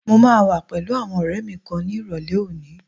Mo máa wà pẹ̀lú àwọn ọ̀rẹ́ẹ mi kan ni ìrọ̀lẹ́ òní.